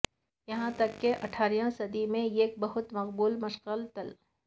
یہاں تک کہ اٹھارہویں صدی میں ایک بہت مقبول مشغلہ تل